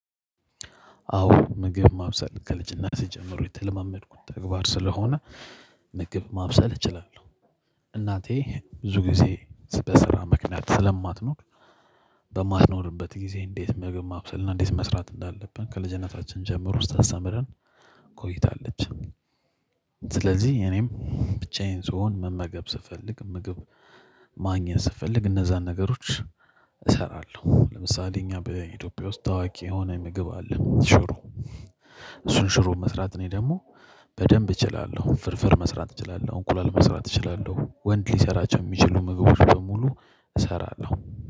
አዎ ምግብ ማብሰል ከልጅነቴ ጀምሮ የተለማመድኩት ተግባር ስለሆነ ምግብ ማብሰል እችላለሁ። እናቴ ብዙ ጊዜ በስራ ምክንያት ስለማትኖር በማትኖርበት ጊዜ እንዴት ምግብ ማብሰልና እንዴት መስራት እንዳለብን ከልጅነታችን ጀምሮ ስታስተምረን ቆይታለች። ስለዚህ እኔም ብቻዬን ስሆን መመገብ ስፈልግ ምግብ ማግኘት ስፈልግ እነዛን ነገሮች እሰራለሁ። ለምሳሌ እኛ በኢትዮጵያ ውስጥ ታዋቂ የሆነ ምግብ አለ ሽሮ። እሱን ሽሮ መስራት እኔ ደግሞ በደንብ እችላለሁ። ፍርፍር መስራት እችላለሁ። እንቁላል መስራት እችላለሁ። ወንድ ሊሰራቸው የሚችሉ ምግቦችን በሙሉ እሰራለሁ።